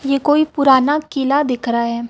यह कोई पुराना किला दिख रहा है।